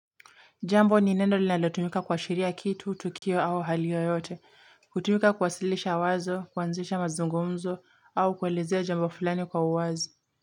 Jambo nino linalotumika kuashiria kitu, tukio au hali yoyote. Hutumika kuwasilisha wazo, kuanzisha mazungumzo au kuelezea jambo fulani kwa uwazi.